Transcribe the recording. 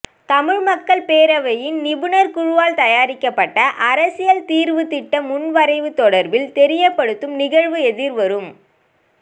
தமிழ் மக்கள் பேரவையின் நிபுணர் குழுவால் தயாரிக்கப்பட்ட அரசியல் தீர்வுத்திட்ட முன்வரைவு தொடர்பில் தெரியப்படுத்தும் நிகழ்வு எதிர்வரும்